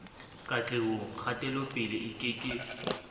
katlehong kgatelopele e ke ke